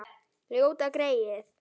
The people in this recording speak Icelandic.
Ljóta greyið.